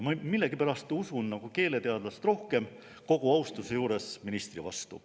Ma millegipärast usun keeleteadlast rohkem, kogu austuse juures ministri vastu.